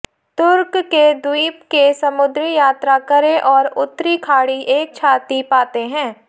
तुर्क के द्वीप के समुद्री यात्रा करें और उत्तरी खाड़ी एक छाती पाते हैं